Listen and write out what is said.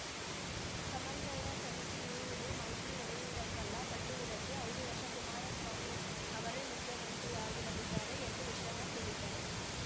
ಸಮನ್ವಯ ಸಮಿತಿ ಇರುವುದು ಮೈತ್ರಿ ಒಡೆಯುವುದಕ್ಕಲ್ಲ ಕಟ್ಟುವುದಕ್ಕೆ ಐದು ವರ್ಷ ಕುಮಾರಸ್ವಾಮಿ ಅವರೇ ಮುಖ್ಯಮಂತ್ರಿಯಾಗಿರಲಿದ್ದಾರೆ ಎಂದು ವಿಶ್ವನಾಥ್‌ ಹೇಳಿದ್ದಾರೆ